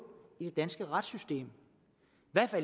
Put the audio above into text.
i det danske retssystem